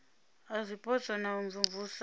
a zwipotso na u imvumvusa